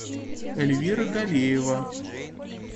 эльвира галиева